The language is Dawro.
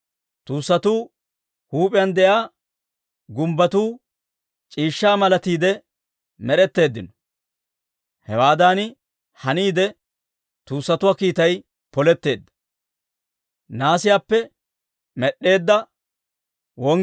Tuussatuu huup'iyaan de'iyaa gumbbotuu c'iishshaa malatiide med'eteeddino. Hewaadan haniide tuussatuwaa kiitay poletteedda.